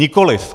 Nikoliv!